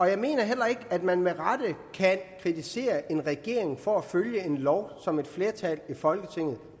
jeg mener heller ikke at man med rette kan kritisere en regering for at følge en lov som et flertal i folketinget